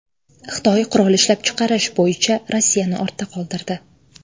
Xitoy qurol ishlab chiqarish bo‘yicha Rossiyani ortda qoldirdi.